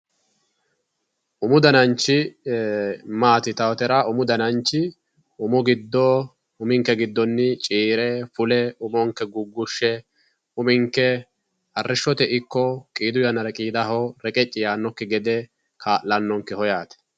Umu dananchi maati yinnannitera, umu dananchi uminke giddo cirre umonke gugushe uminke arrishote ikko qidu yanna qidaho reqeci yannokki gede kaa'lanonke yaate.